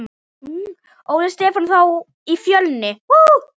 Óli Stefán þá í Fjölni?